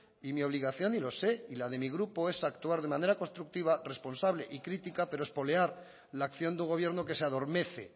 y mi obligación y lo sé y la de mi grupo es actuar de manera constructiva responsable y crítica pero espolear la acción de un gobierno que se adormece